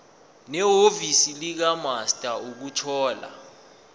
nehhovisi likamaster ukuthola